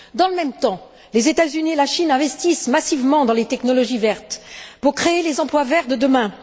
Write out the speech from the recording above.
Dans le même temps, les États Unis et la Chine investissent massivement dans les technologies vertes pour créer les emplois verts de demain.